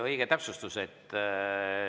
Õige täpsustus.